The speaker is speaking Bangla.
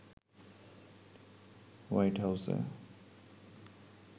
হোয়াইট হাউসে